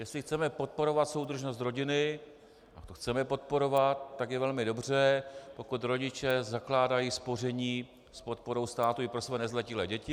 Jestli chceme podporovat soudržnost rodiny, a to chceme podporovat, tak je velmi dobře, pokud rodiče zakládají spoření s podporou státu i pro své nezletilé děti.